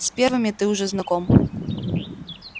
с первыми ты уже знаком